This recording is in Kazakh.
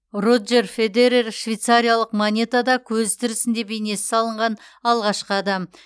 роджер федерер швейцариялық монетада көзі тірісінде бейнесі салынған алғашқы адам